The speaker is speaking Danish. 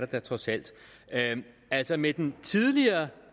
da trods alt altså med den tidligere